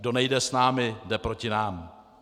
Kdo nejde s námi, jde proti nám.